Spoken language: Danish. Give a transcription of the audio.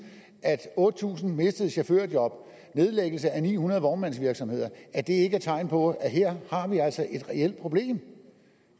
at otte tusind mistede chaufførjob og nedlæggelse af ni hundrede vognmandsvirksomheder ikke er tegn på at her har vi altså et reelt problem